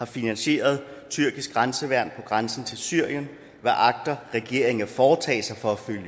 finansieret tyrkisk grænseværn på grænsen til syrien hvad agter regeringen at foretage sig for at følge